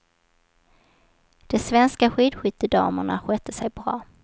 De svenska skidskyttedamerna skötte sig bra.